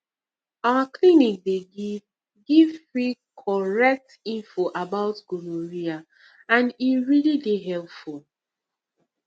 our clinic dey give give free correct info about gonorrhea and e really dey helpful